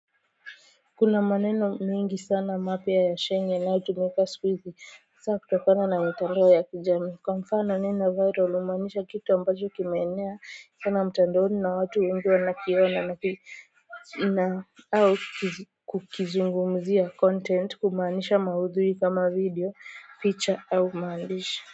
Kuna maneno mengi sana mapya ya sheng inayotumika sikuizi saa kutokana na mtandao ya kijamii kwa mfano neno viral humaanisha kitu ambacho kimeenea sana mtandaoni na watu wengi wanakiona na au kukizungumzia content kumaanisha maudhui kama video picha au maandishi.